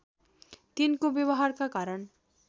तिनको व्यवहारका कारण